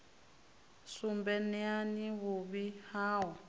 sumbe neani vhuvhi ha u